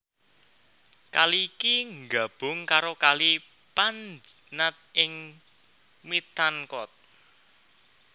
Kali iki nggabung karo Kali Panjnad ing Mithankot